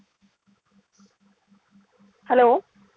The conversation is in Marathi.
Hello?